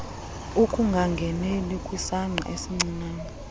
ukungangeneli kwisangqa esincinane